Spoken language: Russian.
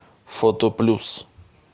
фото плюс